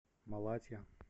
малатья